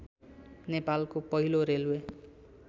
नेपालको पहिलो रेल्वे